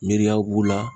Miiriya b'u la